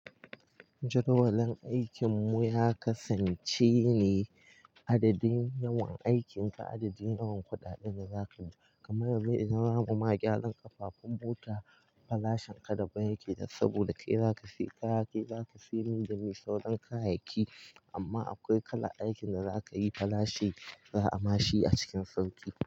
Jadwalin aikin mu ya kasance ne adadin yawan aikin ka adadin yawan kuɗaɗen da zaka ji. Kamar yanzu idan zamu ma gyaran kafafun mota farashin ka daban yake da saboda kai zaka siya kaya kai zaka siya mai da mai sauran kayayyaki amma akwai kalan aikin da zakayi farashi za a mashi a cikin sauki.